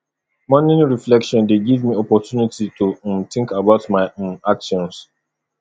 morning reflection dey give me opportunity to um think about my um actions